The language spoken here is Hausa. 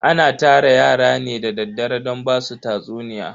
Ana tara yara ne da daddare don basu tatsuniya.